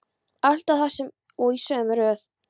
Alltaf það sama og í sömu röð.